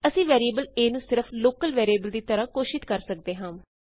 ਅਸੀਂ variable a ਨੂੰ ਸਿਰਫ ਲੋਕਲ ਵੈਰੀਏਬਲ ਦੀ ਤਰ੍ਹਾਂ ਘੋਸ਼ਿਤ ਕਰ ਸਕਦੇ ਹਾਂ